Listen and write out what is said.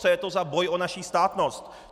Co je to za boj o naši státnost?